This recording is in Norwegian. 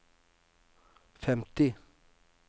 femti